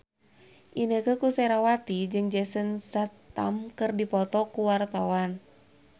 Inneke Koesherawati jeung Jason Statham keur dipoto ku wartawan